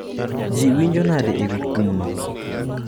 Ji winjo nade e wi kum no?